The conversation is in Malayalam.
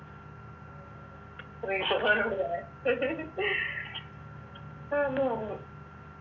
നോട് പറയാൻ